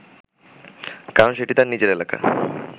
কারণ সেটি তার নিজের এলাকা